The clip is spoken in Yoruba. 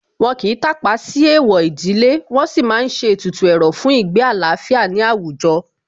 Wọ́n kìí tàpá sí Èèwọ̀ ìdílé, wọn sì má ń ṣe ètùtù ẹ̀rọ̀ fún ìgbé àlàáfíà ní àwùjọ